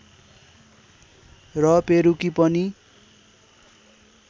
र पेरुकी पनि